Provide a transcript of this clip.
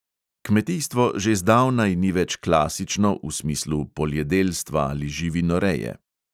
Kmetijstvo že zdavnaj ni več klasično v smislu poljedelstva ali živinoreje.